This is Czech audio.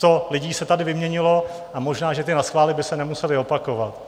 Sto lidí se tady vyměnilo a možná že ty naschvály by se nemusely opakovat.